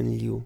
bil.